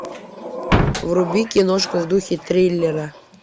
вруби киношку в духе триллера